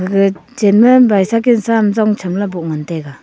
aga chen ma bicycle sa am zong chamla boh ngan taiga.